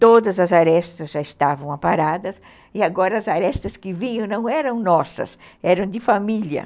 todas as arestas já estavam aparadas, e agora as arestas que vinham não eram nossas, eram de família.